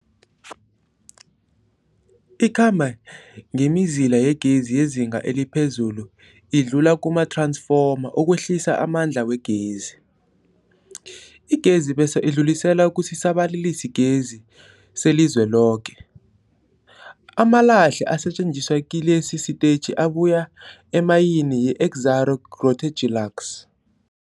Ikhamba ngemizila yegezi yezinga eliphezulu idlule kumath-ransfoma ukwehlisa amandla wegezi. Igezi bese idluliselwa kusisa-balalisigezi selizweloke. Amalahle asetjenziswa kilesi sitetjhi abuya emayini yeExxaro's Grootegeluks.